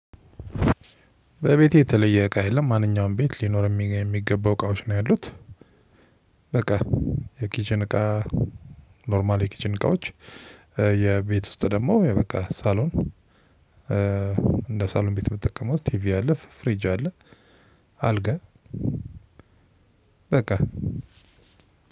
በቤቴ የተለየ እቃ የለም ማንኛውም ቤት ሊኖር የሚገባው እቃዎች ነው ያሉት። በቃ የኪችን እቃ ኖርማል የኪችን እቃዎች የቤት ውስጥ ደግሞ በቃ ሳሎን። እንደ ሳሎን ቤት የምጠቀመው ቲቪ አለ :ፍሪጅ አለ። :አልጋ በቃ